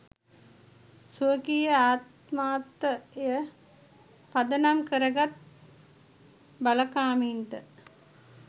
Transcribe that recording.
ස්වකීය ආත්මාර්ථය පදනම් කරගත් බලකාමින්ට